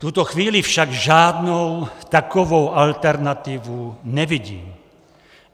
V tuto chvíli však žádnou takovou alternativu nevidím.